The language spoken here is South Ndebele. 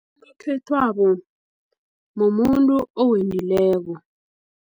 Unokhethwabo mumuntu owendileko.